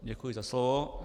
Děkuji za slovo.